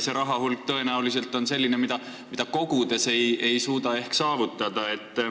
See rahahulk on tõenäoliselt selline, mida kogudes ei suuda ehk saavutada.